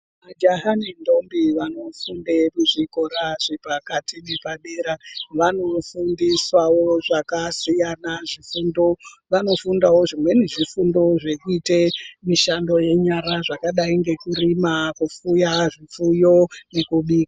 Majaha nendombi vanofunde kuzvikora zvepakati nepadera vanofundiswawo zvakasiyana zvifundo, vanofundawo zvimweni zvifundo zvekuite mishando yenyara zvakadai ngekurima, kupfuya zvipfuyo ngekubika.